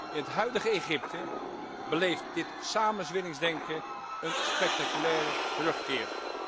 In het huidige Egypte beleeft dit samenzweringsdenken een spectaculaire terugkeer.